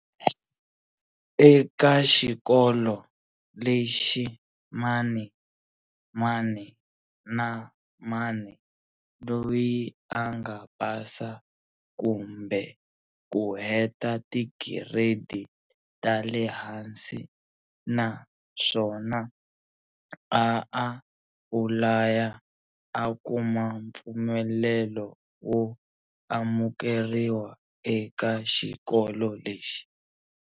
Eka xikolo lexi mani mani na mani loyi anga pasa kumbe ku heta ti tigiredi ta le hansi na swona a apulaya a kuma pfumelelo wo amukeriwa eka xikolo lexi.